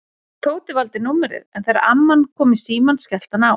Tóti valdi númerið en þegar amman kom í símann skellti hann á.